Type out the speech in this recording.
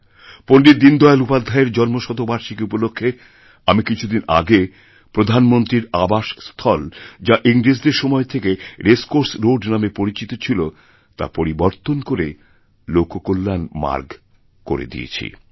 পণ্ডিত দীনদয়াল উপাধ্যায়েরজন্মশতবার্ষিকী উপলক্ষে আমি কিছুদিন আগে প্রধানমন্ত্রীর আবাসস্থল যা ইংরেজদেরসময় থেকে রেসকোর্স রোড নামে পরিচিত ছিল তা পরিবর্তন করে লোক কল্যাণ মার্গ করেদিয়েছি